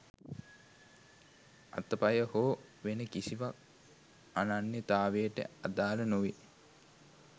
අත පය හෝ වෙන කිසිවක් අනන්‍යතාවයට අදාළ නොවේ